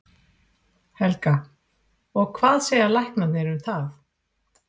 Helga: Og hvað segja læknarnir um það?